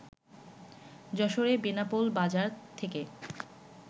যশোরের বেনাপোল বাজার থেকে